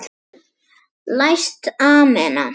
Læst amena.